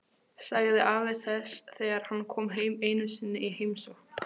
sagði afi þess þegar hann kom einu sinni í heimsókn.